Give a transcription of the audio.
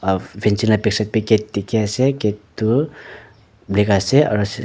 aru fancing laga backside te gate dekhi ase gate tu black ase aru--